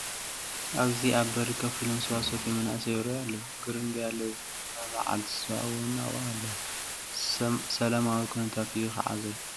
ኣብዚ ኣብ በሪ ኮፍ ኢሎም ስዋ ዝሰትዩ መናእሰይ ይርአዩ ኣለዉ፡፡ ግርምብያለ ዝገበራ በዓልቲ ስዋ እውን ኣብኡ ኣለዋ፡፡ ሰላማዊ ኩነታት እዩ ከዓ ዘሎ፡፡